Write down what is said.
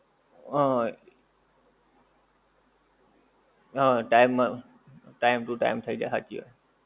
હા. હા time, time to time થઈ જાય હાંચી વાત છે.